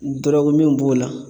Dɔrɔguminw b'o la